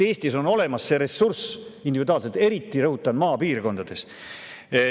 Eestis peab see ressurss individuaalselt olemas olema, eriti – rõhutan – maapiirkondades.